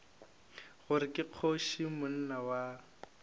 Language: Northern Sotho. gore ke kgoši monna wa